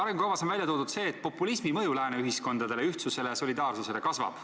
Arengukavas on välja toodud, et populismi mõju lääne ühiskondadele, ühtsusele ja solidaarsusele kasvab.